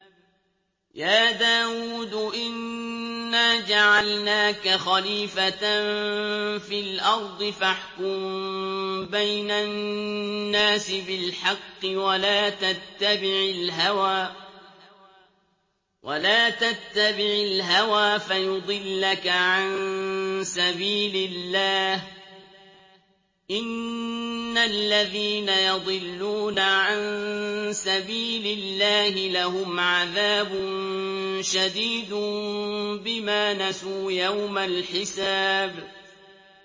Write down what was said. يَا دَاوُودُ إِنَّا جَعَلْنَاكَ خَلِيفَةً فِي الْأَرْضِ فَاحْكُم بَيْنَ النَّاسِ بِالْحَقِّ وَلَا تَتَّبِعِ الْهَوَىٰ فَيُضِلَّكَ عَن سَبِيلِ اللَّهِ ۚ إِنَّ الَّذِينَ يَضِلُّونَ عَن سَبِيلِ اللَّهِ لَهُمْ عَذَابٌ شَدِيدٌ بِمَا نَسُوا يَوْمَ الْحِسَابِ